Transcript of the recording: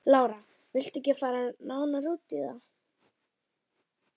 Lára: Vilt þú ekkert fara nánar út í það?